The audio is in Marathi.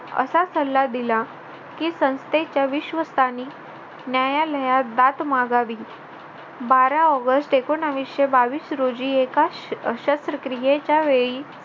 असा सल्ला दिला की संस्थेच्या विश्वस्तांनी न्यायालयात बात मागावी बारा ऑगस्ट एकोनाविशे बावीस रोजी एका शस्त्रक्रियेच्या वेळी